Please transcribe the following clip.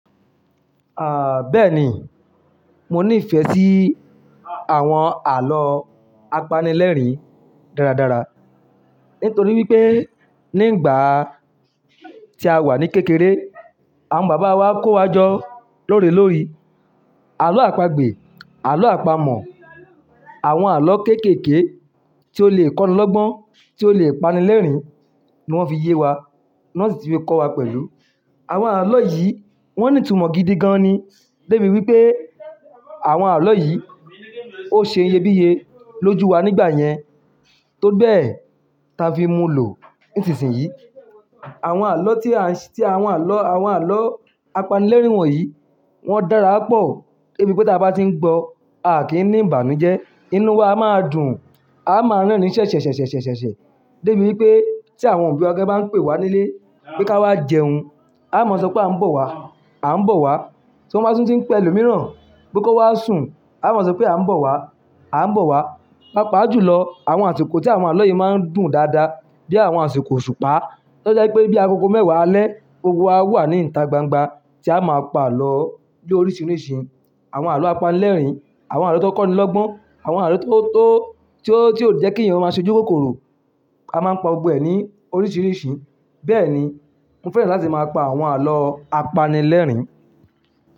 Ah, bẹ́ẹ̀ni, mo ní ìfẹ́ sí àwọn àlọ́ apanilẹ́rìn dáradára. Nítorí wípé ní ìgbà tí a wà ní kékeré, àwọn bàbá wa kó wa jọ lórí lórí. Àlọ́ àpagbè, àlọ́ àpamọ̀, àwọn àlọ́ kéékèèké tí ó le kọ́ni lọ́gbọ́n, tí ó le pani lẹ́rìn ní wọ́n fi yé wa. Ni wọ́n sì ti fi kọ́ wa pẹ̀lú. Àwọn àlọ́ yìí wọ́n ní ìtumọ̀ gidi gan ni. Débi wípé àwọn àlọ́ yìí ó ṣe iyebíye lójú wa nígbà yẹn. Tó bẹ́ẹ̀, ta fi mú lò nísìnsìnyí. Àwọn àlọ́ tí à ń s-- tí àwọn àlọ́, àwọn àlọ́ apanilẹ́rìn wọ̀nyí, wọ́n dára pọ̀. Débi wípé tí a bá tí ń gbọ́ a kì í ní ìbànújẹ́. Inú wa a máa dùn. A máa ń ránní ṣẹ̀ ṣẹ̀ ṣẹ̀ ṣẹ̀ ṣẹ̀ ṣẹ̀ ṣẹ̀. Débi wípé tí àwọn òbí wa gan bá ń pè wá nílé pé ká wá jẹun, a máa sọ pé à ń bọ̀ wá, à ń bọ̀ wá. Tí wọ́n bá tún tí ń pẹ̀ ẹlòmìíràn pé kó wá sùn, a máa sọ pé à ń bọ̀ wá, à ń bọ̀ wá. Pàápàá jù lọ, àwọn àsìkò tí àwọn àlọ́ yìí máa ń dùn dáadáa bí i àwọn àsìkò òṣùpá. Tọ́ jẹ́ wípé bí agogo mẹ́wàá alẹ́, gbogbo wa wà ní ìta gbangba tí a máa pa àlọ́ ló oríṣiríṣi. Àwọn àlọ́ apanilẹ́rìn, àwọn àlọ́ tó kọ́ni lọ́gbọ́n, àwọn àlọ́ tó, tó, tí ó, tí ó jẹ́ kí èèyàn ó máa ṣojú kòkòrò. A máa ń pa ọgbẹ́ ní oríṣiríṣi. Bẹ́ẹ̀ni, mo fẹ́ràn láti máa pa àwọn àlọ́ apanilẹ́rìn.